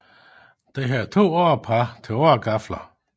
Den havde to årepar til åregafler